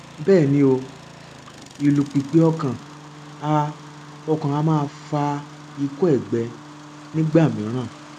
bẹẹ ni o ìlù pìpì ọkàn a ọkàn a máa fa ikọ ẹgbẹ nígbà mìíràn